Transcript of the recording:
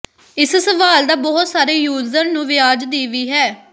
ਇਸ ਸਵਾਲ ਦਾ ਬਹੁਤ ਸਾਰੇ ਯੂਜ਼ਰ ਨੂੰ ਵਿਆਜ ਦੀ ਵੀ ਹੈ